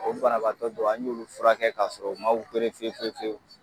O banabaatɔ dɔw an y'olu furakɛ k'a sɔrɔ u ma fiyewu fiyewu !